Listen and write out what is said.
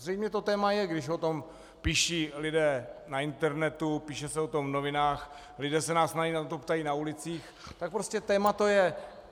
Zřejmě to téma je, když o tom píší lidé na internetu, píše se o tom v novinách, lidé se nás na to ptají na ulicích, tak prostě téma to je.